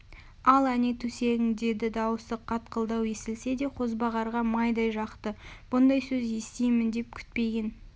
ал әне төсегің деді дауысы қатқылдау естілсе де қозбағарға майдай жақты бұндай сөз естимін деп күтпеген